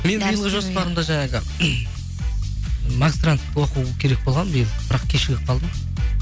мен биылғы жоспарымда жаңағы магистрант оқу керек болған биыл бірақ кешігіп қалдым